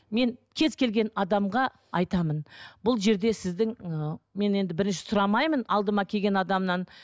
мен кез келген адамға айтамын бұл жерде сіздің ы мен енді бірінші сұрамаймын алдыма келген адамнан